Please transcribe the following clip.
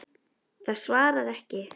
Það svarar ekki.